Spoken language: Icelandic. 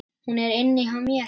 Hún er inni hjá mér.